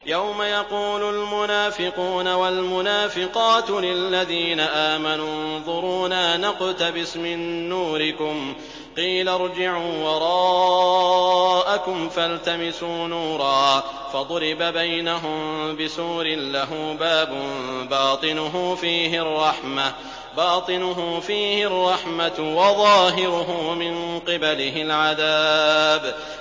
يَوْمَ يَقُولُ الْمُنَافِقُونَ وَالْمُنَافِقَاتُ لِلَّذِينَ آمَنُوا انظُرُونَا نَقْتَبِسْ مِن نُّورِكُمْ قِيلَ ارْجِعُوا وَرَاءَكُمْ فَالْتَمِسُوا نُورًا فَضُرِبَ بَيْنَهُم بِسُورٍ لَّهُ بَابٌ بَاطِنُهُ فِيهِ الرَّحْمَةُ وَظَاهِرُهُ مِن قِبَلِهِ الْعَذَابُ